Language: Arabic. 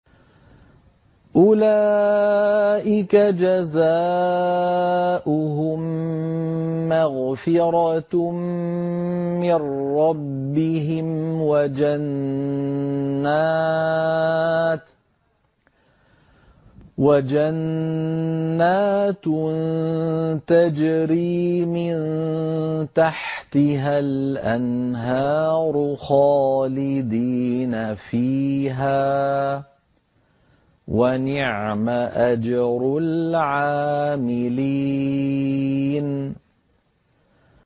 أُولَٰئِكَ جَزَاؤُهُم مَّغْفِرَةٌ مِّن رَّبِّهِمْ وَجَنَّاتٌ تَجْرِي مِن تَحْتِهَا الْأَنْهَارُ خَالِدِينَ فِيهَا ۚ وَنِعْمَ أَجْرُ الْعَامِلِينَ